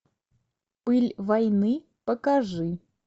пыль войны покажи